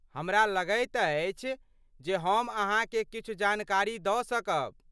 हमरा लगैत अछि जे हम अहाँकेँ किछु जानकारी दऽ सकब।